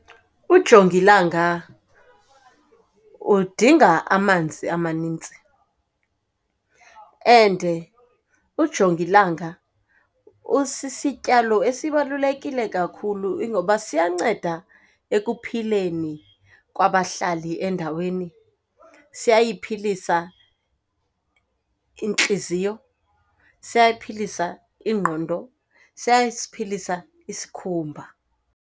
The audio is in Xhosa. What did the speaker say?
Ujongilanga udinga amanzi amaninzi and ujongilanga usisityalo esibalulekile kakhulu. Ingoba siyanceda ekuphileni kwabahlali endaweni. Siyayiphilisa intliziyo, siyayiphilisa ingqondo, siyasiphilisa isikhumba.